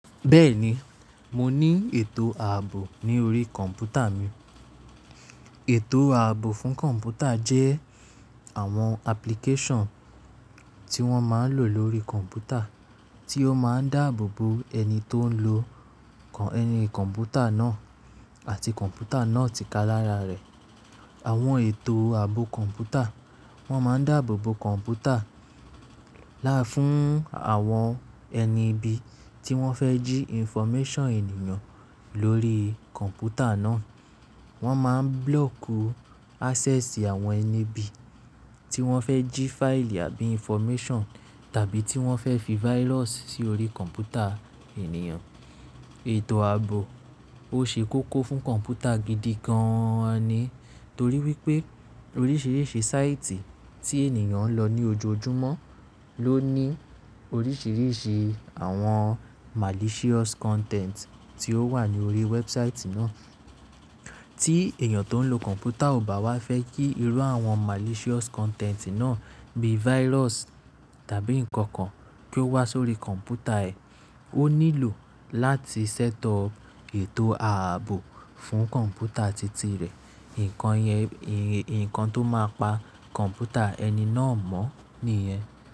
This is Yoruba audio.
Bẹ́ẹ̀ni, mo ní ètò ààbò ní orí kọ̀ǹpútà mi. Ètò ààbò fún kọ̀ǹpútà jẹ́ àwọn application tí wọ́n máa ń lò lórí kọ̀ǹpútà tí ó máa ń dáàbò bo ẹni tó ń lo ẹni kọ̀ǹpútà náà àti kọ̀ǹpútà náà tìkálára rẹ̀. Àwọn ètò ààbò kọ̀ǹpútà wọ́n máa ń dáàbò bo kọ̀ǹpútà láfún àwọn ẹni ibi tí wọ́n fẹ́ jí information ènìyàn lórí kọ̀ǹpútà náà. Wọ́n máa ń block access àwọn ẹni ibi tí wọ́n fẹ́ jí file àbí information tàbí tí wọ́n fẹ́ fi virus sí orí kọ̀ǹpútà ènìyàn. Ètò ààbò ó ṣe kókó fún kọ̀ǹpútà gidi gan ni torí wípé oríṣìíríṣìí sáìtì tí ènìyàn ń lọ ní ojoojúmọ́ ló ní oríṣìíríṣìí àwọn malicious content tí ó wà ní orí wẹ́ẹ̀bụsáìtì náà. Tí èèyàn tó ń lo kọ̀ǹpútà ò bá wá fẹ́ kí irú àwọn malicious content náà bíi virus tàbí nǹkan kan kí ó wá sórí kọ̀ǹpútà ẹ, ó nílò láti setup ètò ààbò fún kọ̀ǹpútà titi rẹ̀. Ǹnkan yẹn, nǹkan tó máa pa kọ̀ǹpútà ẹni náà mọ́ nìyẹn.